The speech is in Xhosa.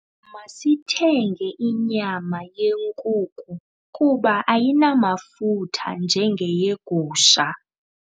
Masithenge inyama yenkuku kuba ayinamafutha njengeyegusha.